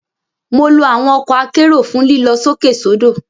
Mo lo awọn ọkọ akero fun lilọ sókè sodo.